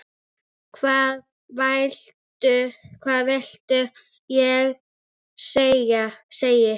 Hvað viltu ég segi?